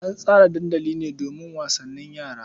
An tsara dandali ne domin wasannin yara.